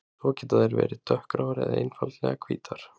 Svo geta þær verið dökkgráar eða einfaldlega hvítar.